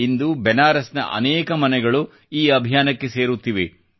ಇಂದು ಬೆನಾರಸ್ನ ಅನೇಕ ಮನೆಗಳು ಈ ಅಭಿಯಾನಕ್ಕೆ ಸೇರುತ್ತಿವೆ